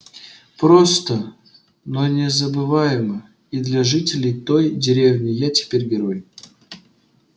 просто но незабываемо и для жителей той деревни я теперь герой